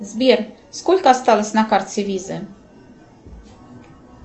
сбер сколько осталось на карте виза